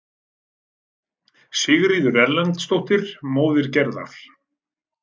Sigríður Erlendsdóttir, móðir Gerðar.